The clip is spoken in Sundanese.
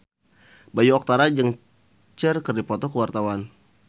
Bayu Octara jeung Cher keur dipoto ku wartawan